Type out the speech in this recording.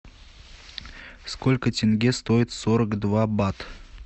сколько тенге стоит сорок два бат